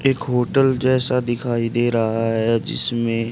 एक होटल जैसा दिखाई दे रहा है जिसमें--